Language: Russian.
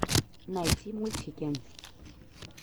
найти мультики